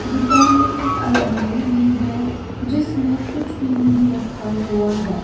दुकान में एक अलमारी भी है जिसमें कुछ भी नहीं रखा हुआ है।